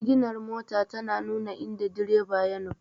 Siginar mota tana nuna inda direba ya nufa.